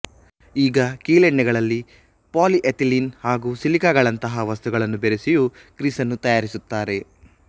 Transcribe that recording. ಈಗ ಕೀಲೆಣ್ಣೆಗಳಲ್ಲಿ polyethylene ಹಾಗೂ ಸಿಲಿಕಾಗಳಂಥ ವಸ್ತುಗಳನ್ನು ಬೆರೆಸಿಯೂ ಗ್ರೀಸನ್ನು ತಯಾರಿಸುತ್ತಾರೆ